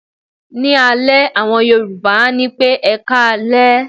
Ní alẹ́, àwọn Yorùbá á ní pé "ẹkáalẹ́".